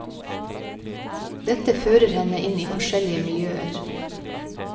Dette fører henne inn i forskjellige miljøer.